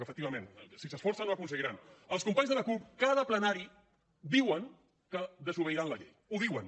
ment si s’esforcen ho aconseguiran els companys de la cup cada plenari diuen que desobeiran la llei ho diuen